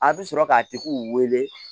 A bɛ sɔrɔ k'a tigi wele